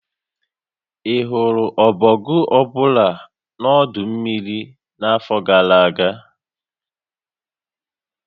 Ị hụrụ ọbọgwụ ọ bụla na ọdọ mmiri n'afọ gara aga?